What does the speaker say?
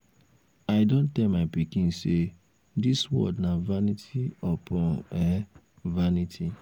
i um don tell my pikin say dis world na vanity upon um vanity